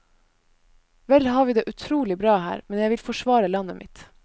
Vel har vi det utrolig bra her, men jeg vil forsvare landet mitt.